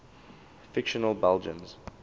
fictional belgians